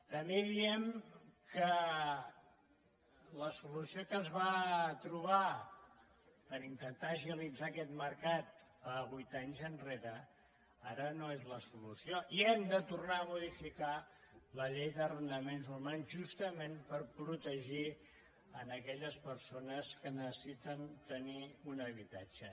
també diem que la solució que es va trobar per inten·tar agilitzar aquest mercat vuit anys enrere ara no és la solució i hem de tornar a modificar la llei d’arrenda·ments urbans justament per protegir aquelles perso·nes que necessiten tenir un habitatge